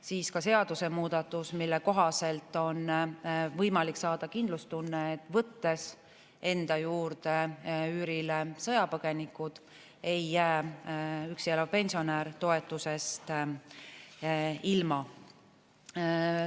See on seadusemuudatus, mille kohaselt on võimalik saada kindlustunne, et võttes enda juurde üürile sõjapõgeniku, ei jää üksi elav pensionär toetusest ilma.